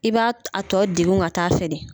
I b'a t a tɔ degun ka taa fɛ dɛ.